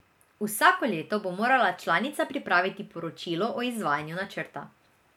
Vsako leto bo morala članica pripraviti poročilo o izvajanju načrta.